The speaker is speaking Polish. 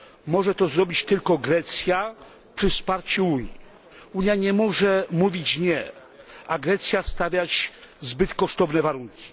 Może to zrobić tylko Grecja przy wsparciu Unii. Unia nie może mówić nie, a Grecja stawiać zbyt kosztownych warunków.